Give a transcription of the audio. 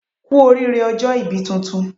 Kú oríire ọjọ́ ibí tuntun